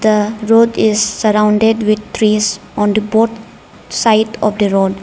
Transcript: the road is surrounded with trees on the both side of the road.